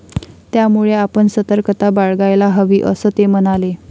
त्यामुळे आपण सतर्कता बाळगायला हवी, असं ते म्हणाले.